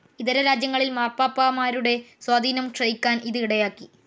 ഇതര രാജ്യങ്ങളിൽ മാർപ്പാപ്പാമാരുടെ സ്വാധീനം ക്ഷയിക്കാൻ ഇത് ഇടയാക്കി.